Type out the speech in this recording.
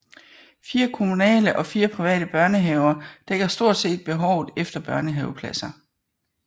Fire kommunale og fire private børnehaver dækker stort set behovet efter børnehavepladser